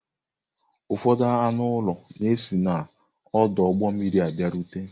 Ụfọdụ anụ ụlọ na si n'ọdụ ụgbọ mmiri bịarute.